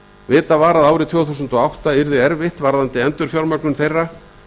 vitað var að árið tvö þúsund og átta yrði erfitt varðandi endurfjármögnun þeirra